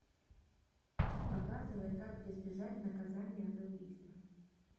показывай как избежать наказания за убийство